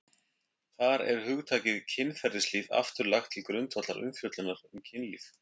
Þar er hugtakið kynferðislíf aftur lagt til grundvallar umfjöllunar um kynlíf.